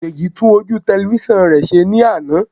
Délé tún ojú tẹlifísàn rẹ̀ ṣe ní àná